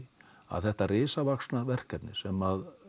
að þetta risavaxna verkefni sem